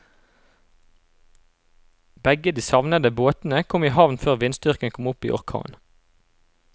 Begge de savnede båtene kom i havn før vindstyrken kom opp i orkan.